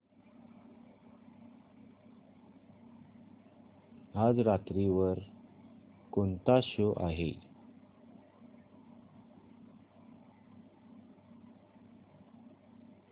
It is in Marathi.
आज रात्री वर कोणता शो आहे